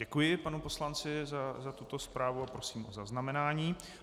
Děkuji panu poslanci za tuto zprávu a prosím o zaznamenání.